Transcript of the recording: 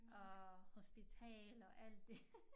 Og hospitaler og alt det